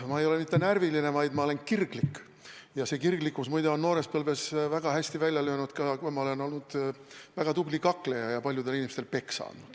Ma ei ole mitte närviline, vaid ma olen kirglik, ja see kirglikkus, muide, on noores põlves väga hästi välja löönud, kui ma olin väga tubli kakleja ja paljudele inimestele peksa andsin.